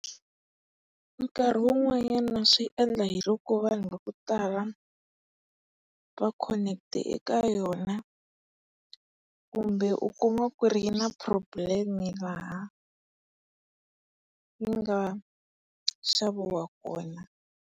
Nkarhi wun'wanyana swi endla hiloko vanhu vakutala va khonetile eka yona. Kumbe u kuma ku ri yi na problem laha yi nga xaviwa kona.